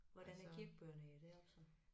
Hvordan er kirkebøgerne i deroppe så